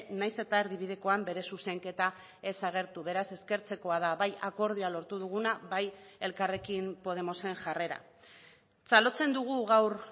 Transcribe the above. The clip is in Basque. nahiz eta erdibidekoan bere zuzenketa ez agertu beraz eskertzekoa da bai akordioa lortu duguna bai elkarrekin podemosen jarrera txalotzen dugu gaur